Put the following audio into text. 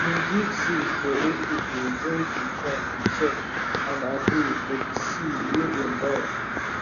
we bin give seat for old people wey bin come to check and agree for de seed wey dem buy